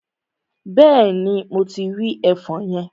Bẹ́ẹ̀ni, mo ti rí ẹfọn yẹn.